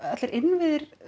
allir innviðir